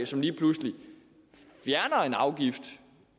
som lige pludselig fjerner en afgift